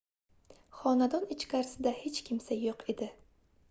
xonadon ichkarisida hech kimsa yoʻq edi